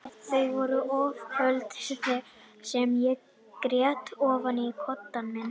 Þau voru ófá kvöldin sem ég grét ofan í koddann minn.